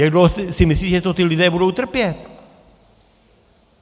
Jak dlouho si myslíte, že to ti lidé budou trpět?